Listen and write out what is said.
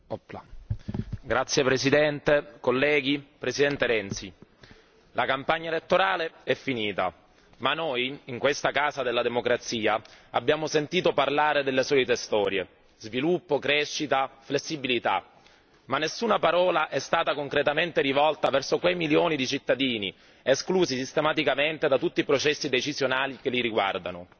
Signor Presidente, onorevoli colleghi, Presidente Renzi, la campagna elettorale è finita ma noi in questa casa della democrazia abbiamo sentito parlare delle solite storie sviluppo, crescita, flessibilità. Ma nessuna parola è stata rivolta verso quei milioni di cittadini esclusi sistematicamente da tutti i processi decisionali che li riguardano.